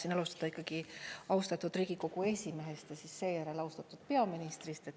Ma tahtsin alustada ikkagi austatud Riigikogu esimehest ja seejärel austatud peaministri poole.